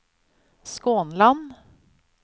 Skånland